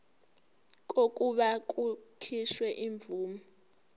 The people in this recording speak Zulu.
kokuba kukhishwe imvume